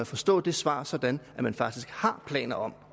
forstå svaret sådan at man faktisk har planer om